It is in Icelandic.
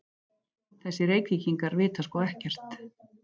Þessir Reykvíkingar vita sko ekkert!